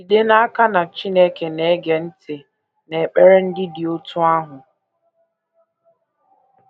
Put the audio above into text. Jide n’aka na Chineke na - ege ntị n’ekpere ndị dị otú ahụ.